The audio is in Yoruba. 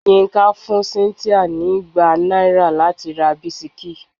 Yinka fún cynthia ní igba náírà láti ra bisikí.